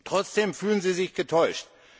Trotzdem fühlen sie sich getäuscht.